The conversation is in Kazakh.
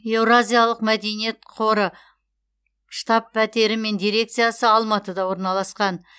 еуразиялық мәдениет қоры штаб пәтері мен дирекциясы алматыда орналасқан